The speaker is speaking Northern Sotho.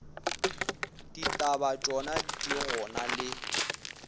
ditaba tšona di gona le